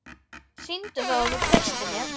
Sýndu þá að þú treystir mér!